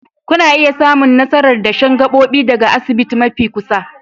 Kuna iya samun nasarar dashen gabobi daga asibiti mafi kusa